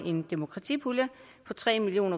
en demokratipulje på tre million